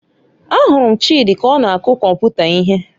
Ahụrụ m Chidi ka ọ na-akụ kọmputa ihe